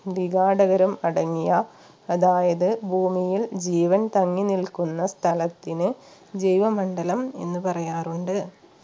വിഘാടകരും അടങ്ങിയ അതായത് ഭൂമിയിൽ ജീവൻ തങ്ങിനിൽക്കുന്ന സ്ഥലത്തിന് ജീവമണ്ഡലം എന്ന് പറയാറുണ്ട്